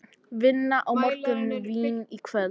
Vinna á morgun, vín í kvöld.